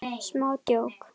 Smá djók.